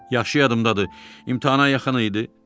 Yaxşı yadımdadır, imtahana yaxın idi.